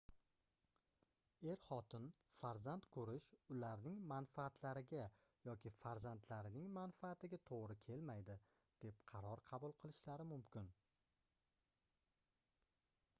er-xotin farzand koʻrish ularning manfaatlariga yoki farzandlarining manfaatiga toʻgʻri kelmaydi deb qaror qabul qilishlari mumkin